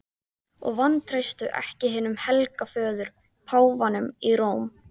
Og vantreystu ekki hinum helga föður, páfanum í Róm.